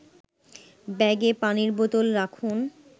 ব্যাগে পানির বোতল রাখুন